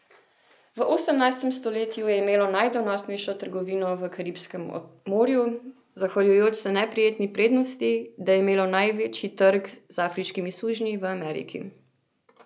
V osemnajstem stoletju je imelo najdonosnejšo trgovino v Karibskem morju, zahvaljujoč se neprijetni prednosti, da je imelo največji trg z afriškimi sužnji v Ameriki.